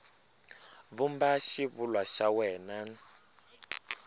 vumba xivulwa xa wena n